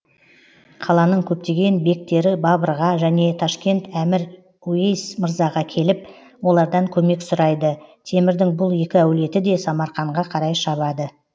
қаланың көптеген бектері бабырға және ташкент әмір уейс мырзаға келіп олардан көмек сұрайды темірдің бұл екі әулеті де самарқанға қарай шабады